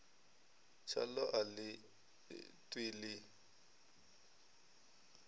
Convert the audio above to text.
tshaḽo a ḽi ṱwi ḽi